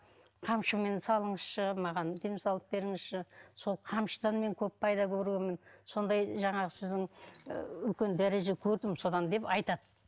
қамшымен салыңызшы маған дем салып беріңізші сол қамшыдан мен көп пайда көргенмін сондай жаңағы сіздің ы үлкен дәреже көрдім содан деп айтады